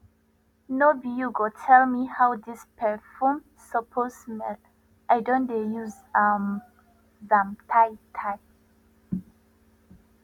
no be you go tell me how this perfume suppose smell i don dey use um am tay tay